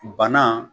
Bana